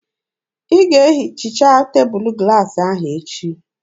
Ị ga-ehicha tebụlụ glaasị ahụ echi!